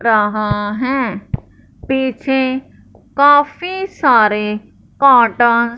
रहा है पीछे काफी सारे कॉटन --